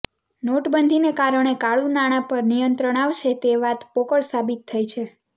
નોટબંધીને કારણે કાળુ નાંણાં પર નિયંત્રણ આવશે તે વાત પોકળ સાબિત થઈ છે